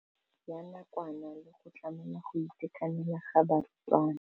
Ya nakwana le go tlamela go itekanela ga barutwana.